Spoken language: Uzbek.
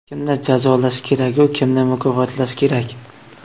Kimni jazolash keragu, kimni mukofotlash kerak?